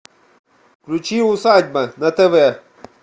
включи усадьба на тв